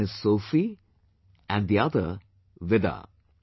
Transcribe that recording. One is Sophie and the other Vida